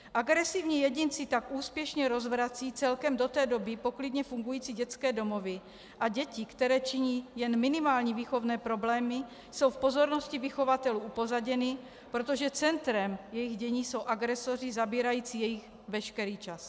Agresivní jedinci tak úspěšně rozvracejí celkem do té doby poklidně fungující dětské domovy a děti, které činí jen minimální výchovné problémy, jsou v pozornosti vychovatelů upozaděny, protože centrem jejich dění jsou agresoři zabírající jejich veškerý čas.